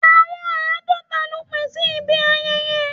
Àwọn àádọ́ta ló pé sí ibi ayẹyẹ.